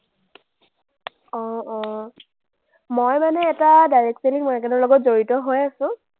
অ, অ। মই মানে এটা direct selling market ৰ লগত জড়িত হৈ আছো,